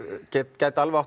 gætu